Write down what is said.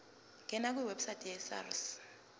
ngena kwiwebsite yesars